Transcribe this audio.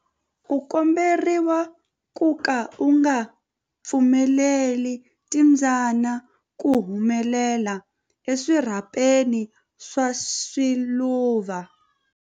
U komberiwa ku ka u nga pfumeleli timbyana ku humela eswirhapeni swa swiluva.